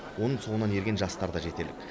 оның соңынан ерген жастар да жетерлік